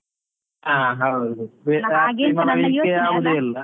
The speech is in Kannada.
ಹಾ ಹೌದು .